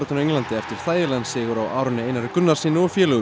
á Englandi eftir þægilegan sigur á Aroni Einari Gunnarssyni og félögum í